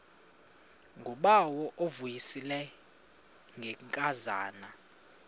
ngubawo uvuyisile ngenkazana